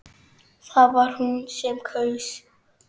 Það var hún sem kaus!